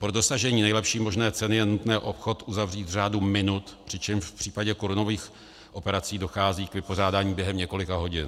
Pro dosažení nejlepší možné ceny je nutné obchod uzavřít v řádu minut, přičemž v případě korunových operací dochází k vypořádání během několika hodin.